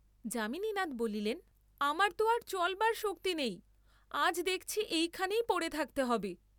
যামিনীনাথ বলিলেন, আমার তো আর চলবার শক্তি নেই, আজ দেখছি এইখানেই পড়ে থাকতে হবে।